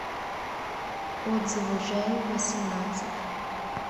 отзывы жэу восемнадцать